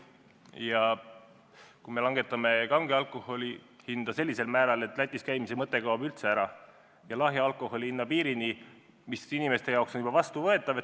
Me soovime langetada kange alkoholi hinda sellisel määral, et Lätis käimise mõte kaob ära, ja lahja alkoholi hinna piirini, mis inimeste jaoks on juba vastuvõetav.